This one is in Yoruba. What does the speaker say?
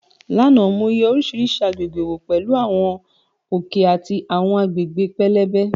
Lánàá, mo yẹ oríṣiríṣi àgbègbè wò pẹ̀lú àwọn òkè àti àwọn agbègbè pẹlẹbẹ.